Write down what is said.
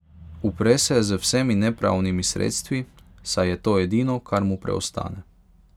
Upre se z vsemi nepravnimi sredstvi, saj je to edino, kar mu preostane.